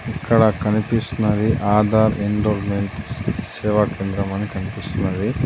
ఇక్కడ కనిపిస్తున్నది ఆధార్ ఎన్రోల్మెంట్ సేవా కేంద్రం అని కనిపిస్తున్నది.